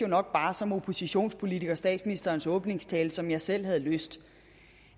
nok bare som oppositionspolitiker læste statsministerens åbningstale som jeg selv havde lyst